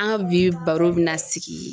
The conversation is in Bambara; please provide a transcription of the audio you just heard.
An ka bi baro bɛna sigi